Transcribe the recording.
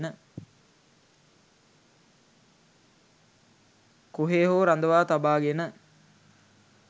කොහේ හෝ රඳවා තබාගෙන